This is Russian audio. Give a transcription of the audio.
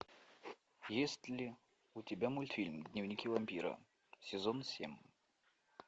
есть ли у тебя мультфильм дневники вампира сезон семь